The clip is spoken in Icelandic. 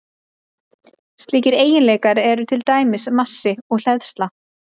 Slíkir eiginleikar eru til dæmis massi og hleðsla.